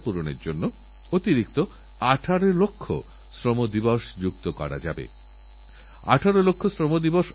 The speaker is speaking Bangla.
আমার আশা এই এআইএম এর মাধ্যমে আতাল ইনোভেশন মিশন এর মাধ্যমে গোটা দেশে এক পরিকাঠামো তৈরি হবে